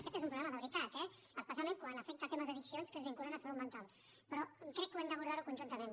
aquest és un problema de veritat eh especialment quan afecta temes d’addiccions que es vinculen a salut mental però crec que ho hem d’abordar conjuntament